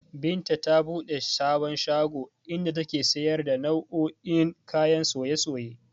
Binta ta buɗe sabon shago, inda take siyar da nau'o'in kayan soye-soye